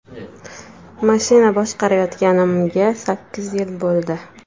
Mashina boshqarayotganimga sakkiz yil bo‘ldi.